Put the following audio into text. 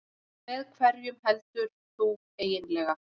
Með hverjum heldur þú eiginlega?